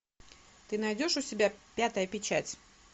ты найдешь у себя пятая печать